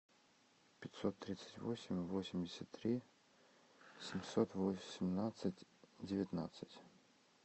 пятьсот тридцать восемь восемьдесят три семьсот восемнадцать девятнадцать